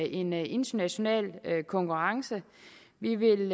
i en international konkurrence vi vil